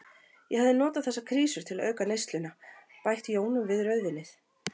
Ég hafði notað þessar krísur til auka neysluna, bætt jónum við rauðvínið.